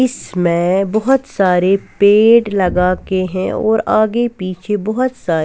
इसमै बहुत सारे पेड लगा के हैं और आगे पीछे बहुत सारे --